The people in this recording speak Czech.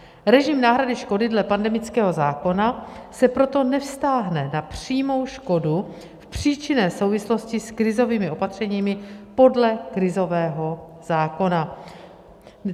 Režim náhrady škody dle pandemického zákona se proto nevztáhne na přímou škodu v příčinné souvislosti s krizovými opatřeními podle krizového zákona.